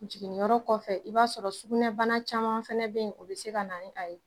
Jiginniyɔrɔ kɔfɛ, i b'a sɔrɔ sukunɛbana caman fana bɛ yen o be yen o bi se ka na ni a ye